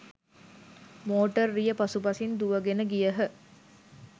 Motor රිය පසු පසින් දුවගෙන ගියහ.